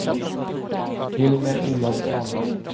Hilmer Olovsson